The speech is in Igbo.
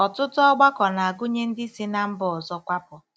Ọtụtụ ọgbakọ na-agụnye ndị si ná mba ọzọ kwapụ.